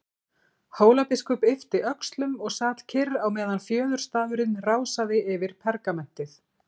Hólabiskup yppti öxlum og sat kyrr á meðan fjöðurstafurinn rásaði yfir pergamentið.